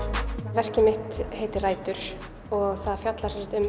verkið mitt heitir rætur og fjallar um